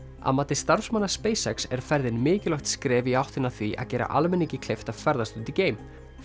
að mati starfsmanna er ferðin mikilvægt skref í áttina að því að gera almenningi kleift að ferðast út í geim